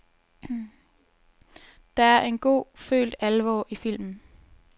Der er en god, følt alvor i filmen.